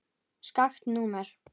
Skakkt númer.